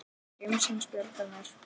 Gemsinn bjargar mér.